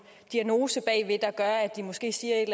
diagnose der gør at de måske siger et